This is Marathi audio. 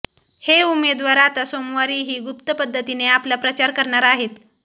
हे उमेदवार आता सोमवारीही गुप्तपद्धतीने आपला प्रचार करणार आहेत